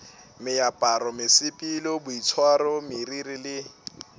meaparo mesepelo boitshwaro meriri le